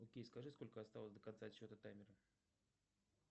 окей скажи сколько осталось до конца отсчета таймера